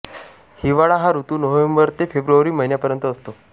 हिवाळा हा ऋतू नोव्हेंबर ते फेब्रुवारी महिन्यांपर्यंत असतो